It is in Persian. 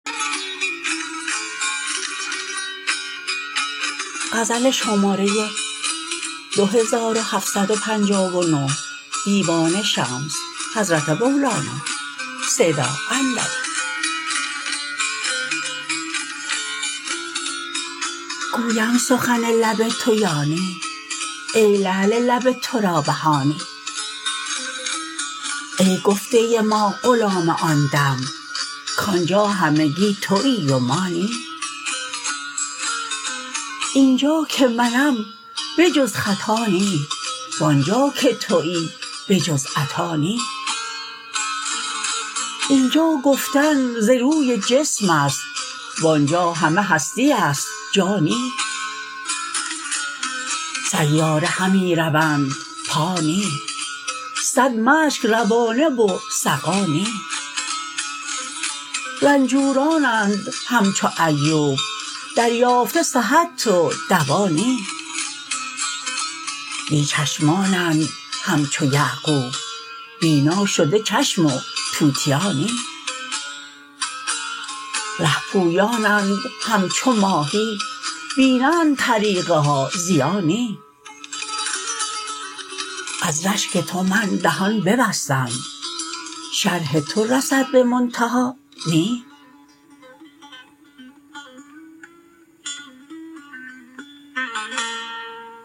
گویم سخن لب تو یا نی ای لعل لب تو را بها نی ای گفته ما غلام آن دم کآنجا همگی توی و ما نی اینجا که منم به جز خطا نی وآنجا که توی بجز عطا نی اینجا گفتن ز روی جسم است وآنجا همه هستی است جا نی سیاره همی روند پا نی صد مشک روانه و سقا نی رنجورانند همچو ایوب دریافته صحت و دوا نی بی چشمانند همچو یعقوب بینا شده چشم و توتیا نی ره پویانند همچو ماهی بینند طریق ها ضیا نی از رشک تو من دهان ببستم شرح تو رسد به منتها نی